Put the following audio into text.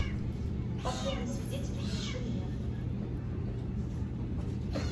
последний свидетель включи мне